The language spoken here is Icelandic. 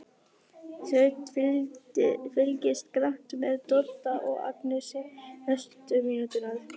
Svenni fylgist grannt með Dodda og Agnesi næstu mínúturnar.